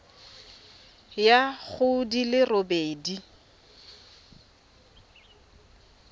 ya go di le robedi